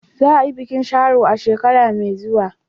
Za a yi bikin Sharo a shekara mai zuwa.